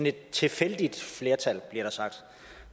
et tilfældigt flertal som bliver sagt